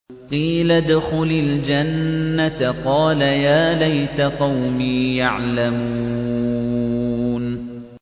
قِيلَ ادْخُلِ الْجَنَّةَ ۖ قَالَ يَا لَيْتَ قَوْمِي يَعْلَمُونَ